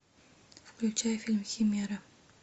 включай фильм химера